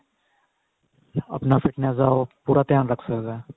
ਆਪਣਾ fitness ਦਾ ਉਹ ਪੂਰਾ ਧਿਆਨ ਰੱਖ ਸਕਦਾ